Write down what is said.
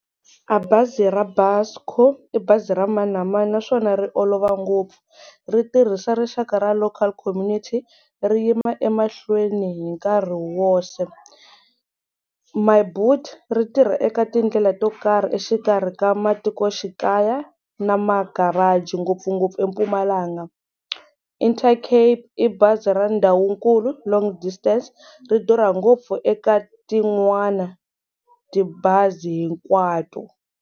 A bazi ra Busco i bazi ra mani na mani naswona ri olova ngopfu ri tirhisa rixaka ra local community ri yima emahlweni hi nkarhi woxe ri tirha eka tindlela to karhi exikarhi ka matikoxikaya na ma-garage ngopfungopfu eMpumalanga, Inte Cape i bazi ra ndhawu nkulu long distance ri durha ngopfu eka tin'wana tibazi hinkwato.